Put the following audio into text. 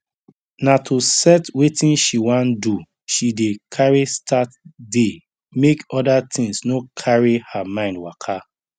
na to set wetin she wan do she dey carry start day make other things no cary her mind waka